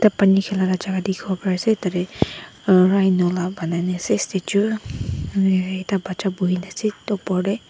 te pani khilaka jaka dikhiwo parease tatae rhino la banai na ase statue ekta bacha boina ase edu opor tae.